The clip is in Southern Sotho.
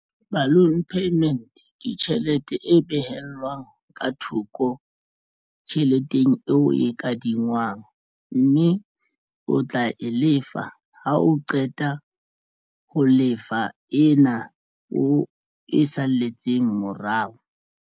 Balloon payment ke tjhelete e behellwang ka thoko tjheleteng eo e kadingwang mme o tla e lefa ha o qeta ho lefa ena o e salletseng morao.